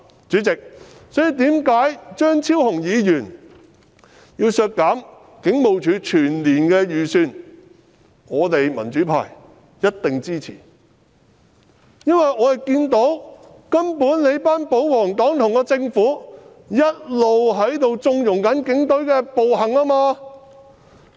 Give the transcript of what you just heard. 主席，這便是為何張超雄議員要求削減警務處全年開支預算的原因，我們民主派一定支持，因為我們看到保皇黨和政府一直在縱容警隊的暴行。